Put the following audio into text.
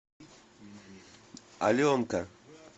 аленка